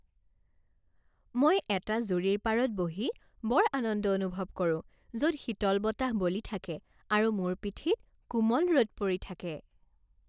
মই এটা জুৰিৰ পাৰত বহি বৰ আনন্দ অনুভৱ কৰো য'ত শীতল বতাহ বলি থাকে আৰু মোৰ পিঠিত কোমল ৰ'দ পৰি থাকে।